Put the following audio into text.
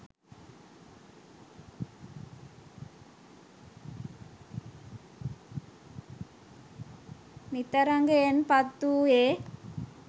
නිතරගයෙන් පත් වූයේ